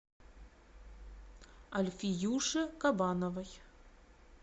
альфиюше кабановой